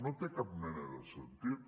no té cap mena de sentit